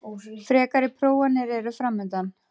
Frekari prófanir eru framundan